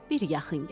Bir yaxın gəl.